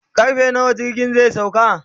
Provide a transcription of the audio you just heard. karfe nawa jirgin zai sauka